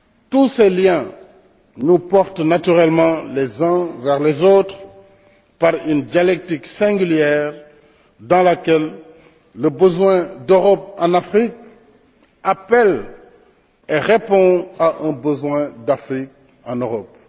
Tous ces liens nous portent naturellement les uns vers les autres par une dialectique singulière dans laquelle le besoin d'Europe en Afrique appelle et répond à un besoin d'Afrique en Europe.